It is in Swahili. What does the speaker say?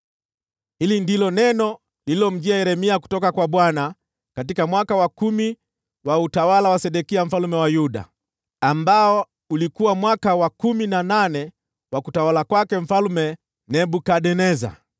Hili ndilo neno lililomjia Yeremia kutoka kwa Bwana , katika mwaka wa kumi wa utawala wa Sedekia mfalme wa Yuda, ambao ulikuwa mwaka wa kumi na nane wa utawala wa Mfalme Nebukadneza.